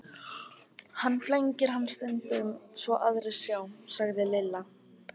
Hann flengir hann stundum svo aðrir sjá, sagði Lilla.